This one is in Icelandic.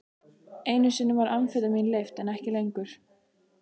Einu sinni var amfetamín leyft, en ekki lengur.